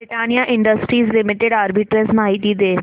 Britannia Industries Limited arbitrage माहिती दे